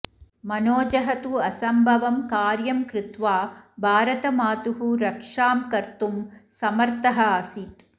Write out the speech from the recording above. मनोजः तु असम्भवं कार्यं कृत्वा भारतमातुः रक्षां कुर्तुं समर्थः आसीत्